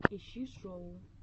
ищи шоу